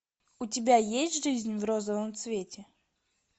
у тебя есть жизнь в розовом цвете